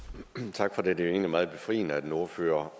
tak for det det er jo egentlig meget befriende at en ordfører